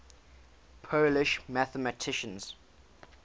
polish mathematicians